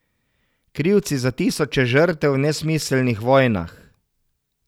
Krivci za tisoče žrtev v nesmiselnih vojnah.